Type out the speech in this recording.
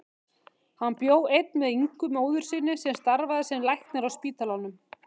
Hann bjó einn með Ingu móður sinni sem starfaði sem læknir á spítalanum.